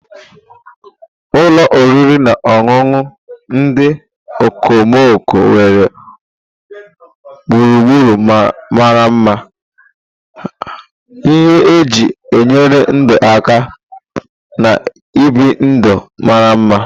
Ụlọ oriri na ọṅụṅụ ndị okomoko nwere gburugburu mara mma, ihe eji enyere ndụ aka, na ibi ndụ mara mma.